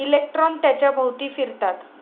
Electron त्याच्या भोवती फिरतात.